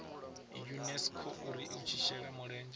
unesco uri i shele mulenzhe